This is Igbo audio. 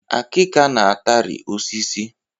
Akika na-atari osisi